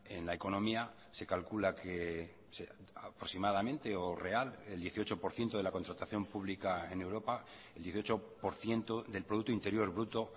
en la economía se calcula que aproximadamente o real el dieciocho por ciento de la contratación pública en europa el dieciocho por ciento del producto interior bruto